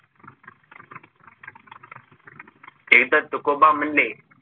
हे तर तुकोबा मंडे